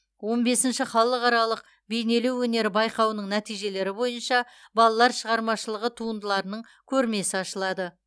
он бесінші халықаралық бейнелеу өнері байқауының нәтижелері бойынша балалар шығармашылығы туындыларының көрмесі ашылады